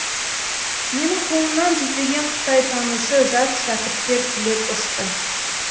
менің қолымнан жүздеген қытайтанушы жас шәкірттер түлеп ұшты